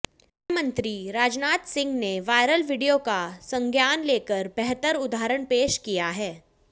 गृहमंत्री राजनाथ सिंह ने viral video का संज्ञान लेकर बेहतर उदाहरण पेश किया है